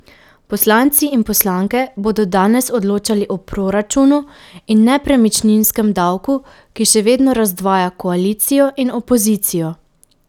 Poslanci in poslanke bodo danes odločali o proračunu in nepremičninskem davku, ki še vedno razdvaja koalicijo in opozicijo.